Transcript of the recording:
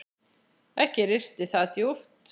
Ekki risti það djúpt.